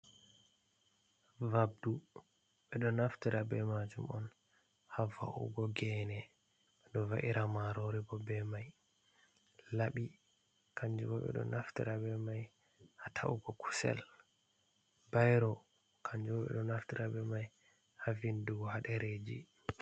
Vabdu, ɓedo naftara be majum on hava’ugo gene, ɓedo va’ira maroribo be mai, laɓi, kanjubo ɓeɗo naftara be mai ha ta’ugo kusel. Bairo kanjubo ɓe ɗo naftara be mai ha vindugo haɗereji.